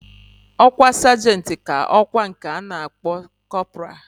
Okwa sergent ka okwa nke ana akpo corporal.